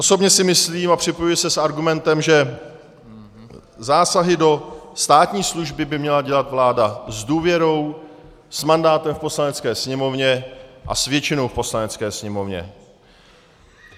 Osobně si myslím a připojuji se s argumentem, že zásahy do státní služby by měla dělat vláda s důvěrou, s mandátem v Poslanecké sněmovně a s většinou v Poslanecké sněmovně.